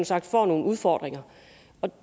sagt får nogle udfordringer